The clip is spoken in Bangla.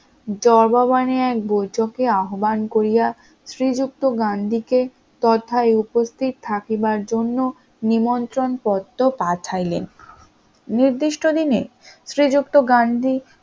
জওয়াবাবনে এক বৈঠকে আহ্বান করিয়া শ্রীযুক্ত গান্ধীকে তথায় উপস্থিত থাকিবার জন্য নিমন্ত্রণ পত্র পাঠাইলেন, নির্দিষ্ট দিনে শ্রীযুক্ত গান্ধী